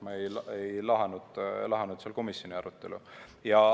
Ma ei lahanud seal komisjoni arutelu.